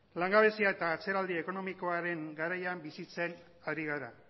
langabezia eta atzeraldi ekonomikoaren garaian bizitzen ari gara